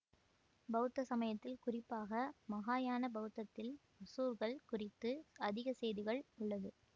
பௌத்த சமயத்தில் குறிப்பாக மகாயான பௌத்தத்தில் அசுர்ர்கள் குறித்து அதிக செய்திகள் உள்ளது